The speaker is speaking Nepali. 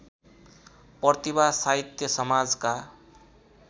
प्रतिभा साहित्य समाजका